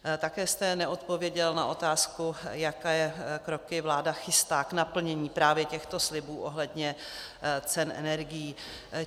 Také jste neodpověděl na otázku, jaké kroky vláda chystá k naplnění právě těchto slibů ohledně cen energií.